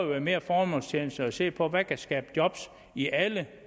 være mere formålstjenligt at se på hvad der kan skabe job i alle